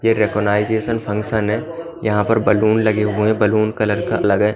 ये recognization function है यहां पर बलून लगे हुए बैलून कलर का लगे--